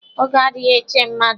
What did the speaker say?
Oge adịghị eche mmadụ.